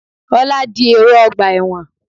Ọlá di èrò ọgbà ẹ̀wọ̀n.